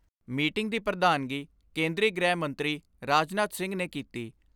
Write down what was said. Meeting ਦੀ ਪ੍ਰਧਾਨਗੀ ਕੇਂਦਰੀ ਗ੍ਰਹਿ ਮੰਤਰੀ ਰਾਜਨਾਥ ਸਿੰਘ ਨੇ ਕੀਤੀ।